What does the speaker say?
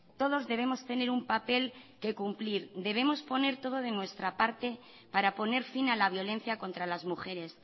todos debemos tener un papel que cumplir debemos poner todo de nuestra parte para poner fin a la violencia contra las mujeres